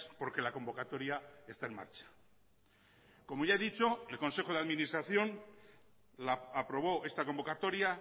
porque la convocatoria está en marcha como ya he dicho el consejo de administración aprobó esta convocatoria